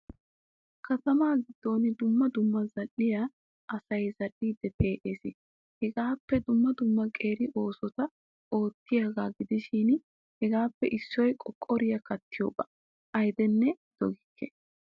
Kattama giddon dumma dumma zal'iyaa asay zal'idi pe'ees. Hagaappe dumma dumma qeeri oosotta oottiyoga gidishin hegappe issoy qoqoriyaa kattiyoga. Ayddene doggikke.